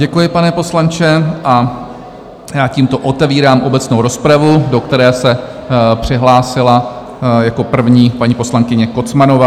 Děkuji, pane poslanče a já tímto otevírám obecnou rozpravu, do které se přihlásila jako první paní poslankyně Kocmanová.